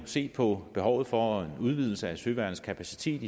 set på behovet for en udvidelse af søværnets kapacitet